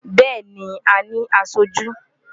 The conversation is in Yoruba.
Bẹ́ẹ̀ni, a ní aṣojú.